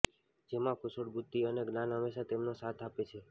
જેમાં કુશળ બુદ્ધી અને જ્ઞાન હંમેશા તેમનો સાથ આપે છે